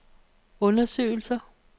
undersøgelser